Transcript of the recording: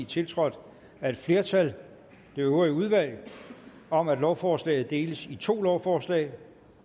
tiltrådt af et flertal det øvrige udvalg om at lovforslaget deles i to lovforslag